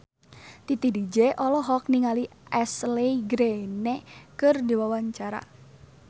Titi DJ olohok ningali Ashley Greene keur diwawancara